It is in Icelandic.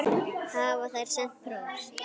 Hafa þær sent póst?